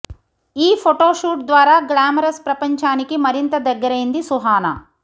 ఈ photo shoot ద్వారా glamorous ప్రపంచానికి మరింత దగ్గరైంది సుహనా